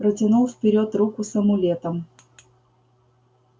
протянул вперёд руку с амулетом